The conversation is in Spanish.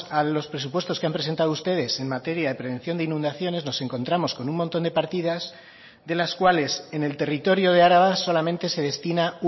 a los presupuestos que han presentado ustedes en materia de prevención de inundaciones nos encontramos con un montón de partidas de las cuales en el territorio de araba solamente se destina